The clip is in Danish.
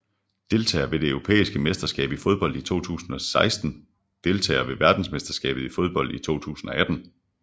Deltagere ved det europæiske mesterskab i fodbold 2016 Deltagere ved verdensmesterskabet i fodbold 2018